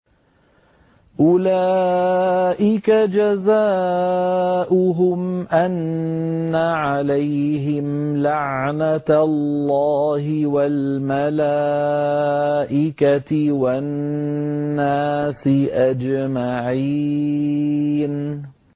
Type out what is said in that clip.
أُولَٰئِكَ جَزَاؤُهُمْ أَنَّ عَلَيْهِمْ لَعْنَةَ اللَّهِ وَالْمَلَائِكَةِ وَالنَّاسِ أَجْمَعِينَ